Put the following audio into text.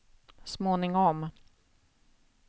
småningom